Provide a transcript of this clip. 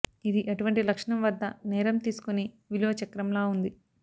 ఇది అటువంటి లక్షణం వద్ద నేరం తీసుకొని విలువ చక్రంలా ఉంది